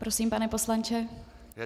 Prosím, pane poslanče.